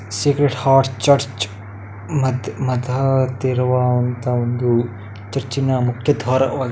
sacred heart church ಮದ್ ಮದಂತವರ್ ಇರುವಂತಹ ಒಂದು ಚರ್ಚಿನ ಮುಖ್ಯದ್ವಾರವಾಗಿ --